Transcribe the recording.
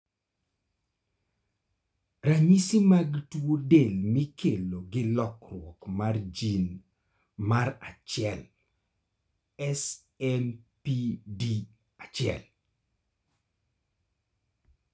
ranyisi mag tuo del mikelo gi lokruok mar jin mar1(SMPD1)